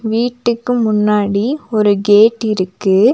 வீட்டுக்கு முன்னாடி ஒரு கேட்டிருக்கு .